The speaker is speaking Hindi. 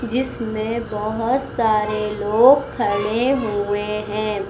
जीसमें बहोत सारे लोग खड़े हुए हैं।